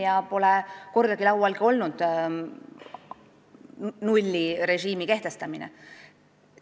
Meil pole kordagi nullrežiimi kehtestamist ka laual olnud.